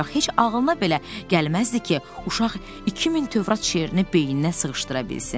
Heç ağılına belə gəlməzdi ki, uşaq 2000 Tövrat şeirini beyninə sığışdıra bilsin.